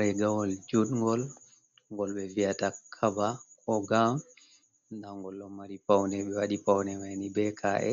Regawol judngol gol be vi’ata kaba ko gown nda ngol ɗon mari paunde ɓe wadi paune maini be k’e